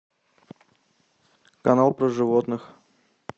канал про животных